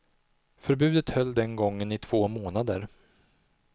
Förbudet höll den gången i två månader.